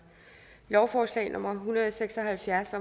lovforslag nummer l en hundrede og seks og halvfjerds